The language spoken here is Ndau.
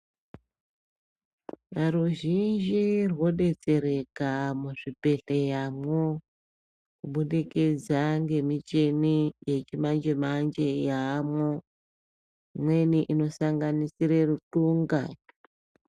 Ruzhinji rwodetsereka muzvibhedhleramwo kubudikidza ngemichini yechimanje manje yaamwo imweni inosanganisira rutunga.